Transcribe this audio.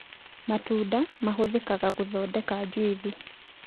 Matunda mahũthĩkaga gũthondeka juithi